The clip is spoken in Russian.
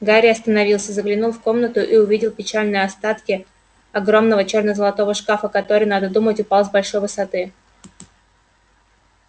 гарри остановился заглянул в комнату и увидел печальные остатки огромного чёрно-золотого шкафа который надо думать упал с большой высоты